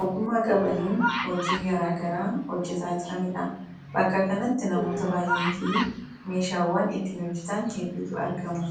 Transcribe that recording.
ogummaa qabaniin hojii garaagaraa hojjetaa jirani dha. Bakka kanatti namoota baay'ee fi meeshaawwan ittiin hojjetan hedduutu argama.